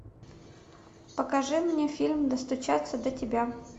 покажи мне фильм достучаться до тебя